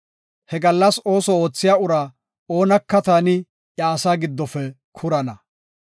He gallas ooso oothiya uraa oonaka taani iya asaa giddofe kurana.